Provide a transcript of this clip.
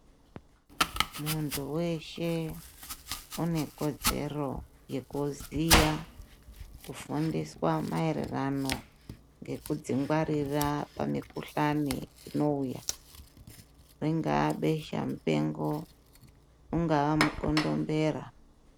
Muntu weshe une kodzero yekuziya kufundiswa, maererano nekudzingwarira, pamikhuhlani inouya, ringaabeshamupengo, ungaamukondombera.